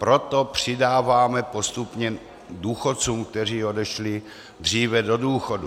Proto přidáváme postupně důchodcům, kteří odešli dříve do důchodu.